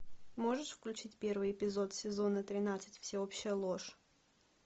можешь включить первый эпизод сезона тринадцать всеобщая ложь